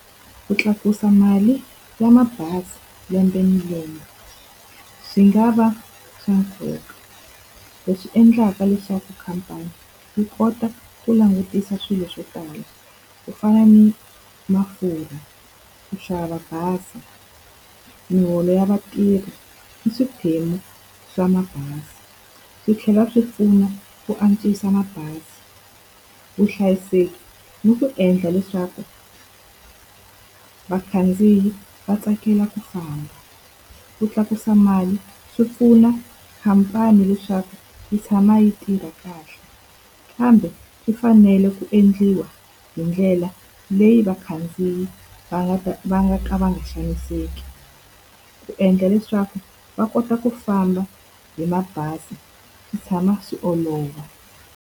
Ku tlakusa mali ya mabazi lembe ni lembe swi nga va swa nkoka, leswi endlaka leswaku khampani yi kota ku langutisa swilo swo tala. Ku fana ni mafurha, ku xava bazi, miholo ya vatirhi, ni swiphemu swa mabazi. Swi tlhela swi pfuna ku antswisa mabazi, vuhlayiseki ni ku endla leswaku vakhandziyi va tsakela ku famba. Ku tlakusa mali swi pfuna khampani leswaku yi tshama yi tirha kahle, kambe ku fanele ku endliwa hi ndlela leyi vakhandziyi va nga ta va nga ka va nga xaniseki. Ku endla leswaku va kota ku famba hi mabazi swi tshama swi olova.